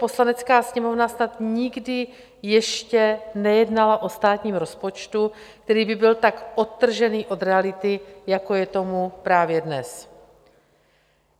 Poslanecká sněmovna snad nikdy ještě nejednala o státním rozpočtu, který by byl tak odtržený od reality, jako je tomu právě dnes.